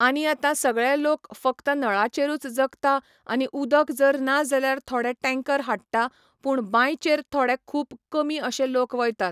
आनी आतां सगळें लोक फक्त नळाचेरूच जगता आनी उदक जर ना जाल्यार थोडे टँकर हाडटा, पूण बांयचेर थोडे खूब कमी अशे लोक वयतात.